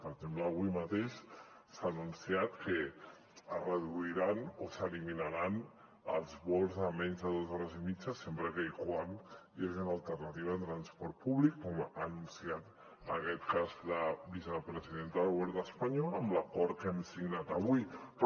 per exemple avui mateix s’ha anunciat que es reduiran o s’eliminaran els vols de menys de dos hores i mitja sempre que hi hagi una alternativa en transport públic com ha anunciat en aquest cas la vicepresidenta del govern espanyol amb l’acord que hem signat avui però